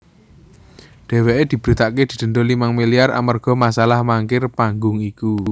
Dheweké diberitakaké didenda limang milyar amarga masalah mangkir panggung iku